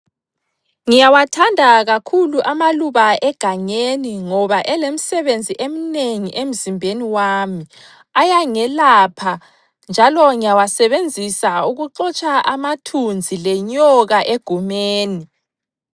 Ngiyawathanda kakhulu amaluba egangeni ngoba elemsebenzi emnengi emzimbeni wami, ayangelapha njalo ngiyawasebenzisa ukuxotsha amathunzi lenyoka egumeni.